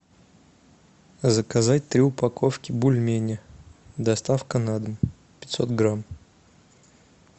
заказать три упаковки бульмени доставка на дом пятьсот грамм